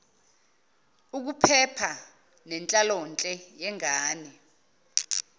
ukuphepha nenhlalonhle yengane